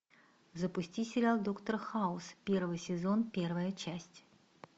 запусти сериал доктор хаус первый сезон первая часть